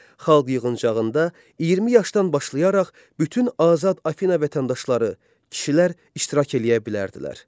Xalq yığıncağında 20 yaşdan başlayaraq bütün azad Afina vətəndaşları, kişilər iştirak eləyə bilərdilər.